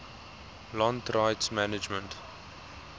land rights management